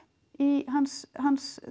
í hans hans